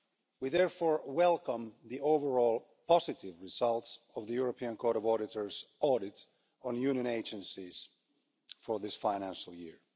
We therefore welcome the overall positive results of the European Court of Auditors' audit on Union agencies for this financial year.